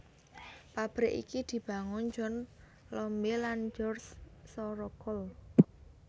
Pabrik iki dibangun John Lombe lan George Sorocold